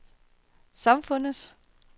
samfundets